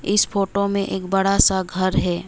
इस फोटो में एक बड़ा सा घर है।